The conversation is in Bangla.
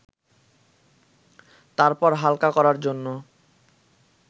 তারপর হালকা করার জন্য